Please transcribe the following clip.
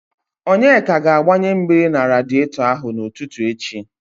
Onyeka ga-agbanye mmiri na radietọ ahụ n'ụtụtụ echi.